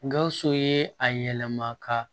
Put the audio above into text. Gawusu ye a yɛlɛma ka